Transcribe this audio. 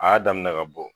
A y'a daminɛ ka bɔ